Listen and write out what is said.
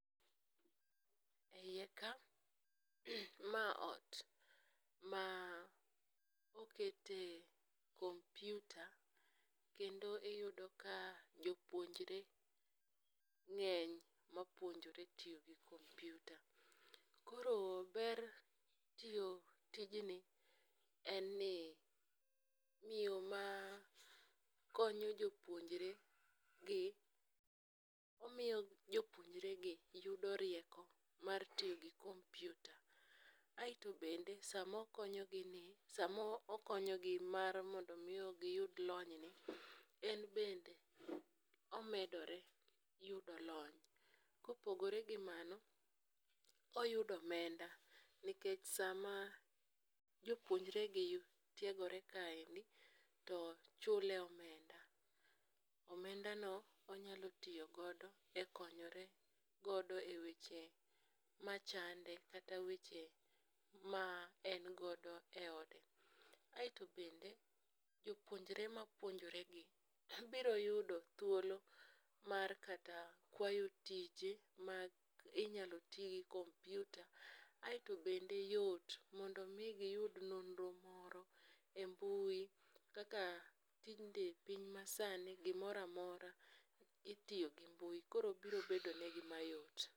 E iye ka, ma ot ma okete kompyuta kendo iyudo ka jopuonjre ng'eny mapuonjore tiyo gi kompyuta. Koro ber tiyo tijni en ni miyo makonyo jopuonjre gi, omiyo jopuonjregi yudo rieko mar tiyo gi kompyuta, aeto bende samokonyogi ni, samokonyigi mar mondo omi giyud lonyni, en bende omedore yudo lony. kopogore gi mano, oyudo omenda nikech sama jopuonjre gi tiegore kaendi, to chule omenda, omendano onyalo tiyo godo e konyore godo e weche machande kata weche ma en godo e ode. aeto bende jopuonjre mapuonjore gi, biro yudo thuolo mar kata kwayo tije ma inyalo ti gi kompyuta. Aeto bende yot mondo omi giyud nonro moro e mbui, kaka tinde piny masani gimoro amora itiyo gi mbui, koro biro bedo negi mayot.